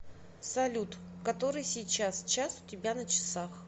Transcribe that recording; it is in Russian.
салют который сейчас час у тебя на часах